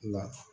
La